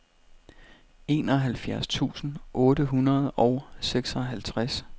enoghalvfjerds tusind otte hundrede og seksoghalvtreds